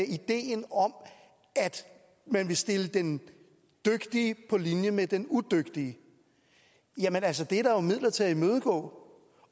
ideen om at man vil stille den dygtige på linje med den udygtige jamen altså det er der jo midler til at imødegå